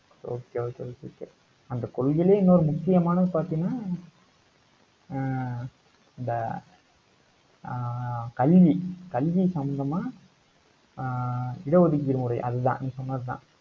okay okay okay okay அந்தக் கொள்கையிலே இன்னொரு முக்கியமானது பாத்தீங்கன்னா ஹம் இந்த ஆஹ் கல்வி கல்வி சம்பந்தமா ஆஹ் இட ஒதுக்கீடு முறை அதுதான் நீ சொன்னதுதான்.